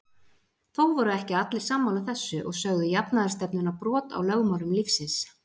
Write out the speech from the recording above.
Þó voru ekki allir sammála þessu og sögðu jafnaðarstefnuna brot á lögmálum lífsins.